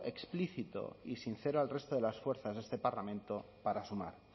explícito y sincero al resto de las fuerzas de este parlamento para sumar